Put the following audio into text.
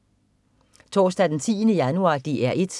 Torsdag den 10. januar - DR 1: